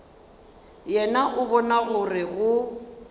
yena o bona gore go